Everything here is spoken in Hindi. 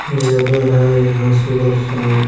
जगह है यहाँ सुबह शाम आ--